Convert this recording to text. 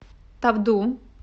тавду